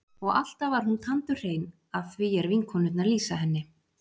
Og alltaf var hún tandurhrein að því er vinkonurnar lýsa henni.